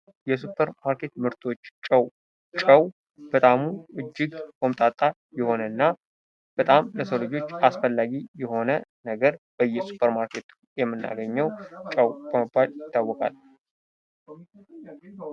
የሱፐር ማርኬት ምርቶች ጨው ጨው በጥዕሙ እጅግ ቆምጣጣ የሆነና በጣም ለሰው ልጆች አስፈላጊ የሆነ ነገር በእየሱፐር ማርኬቱ ምናገኘው ጨው በመባል ይታወቃል።